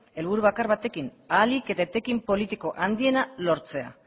helburu bakar batekin ahalik eta etekin politiko handiena lortzea